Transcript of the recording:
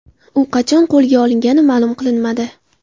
U qachon qo‘lga olingani ma’lum qilinmadi.